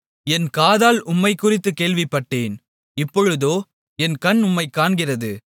என் காதால் உம்மைக்குறித்துக் கேள்விப்பட்டேன் இப்பொழுதோ என் கண் உம்மைக் காண்கிறது